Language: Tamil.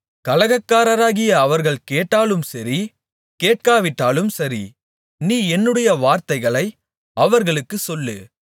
கலகக்காரராகிய அவர்கள் கேட்டாலும் சரி கேட்காவிட்டாலும் சரி நீ என்னுடைய வார்த்தைகளை அவர்களுக்குச் சொல்லு